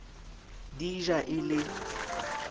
di e ja e le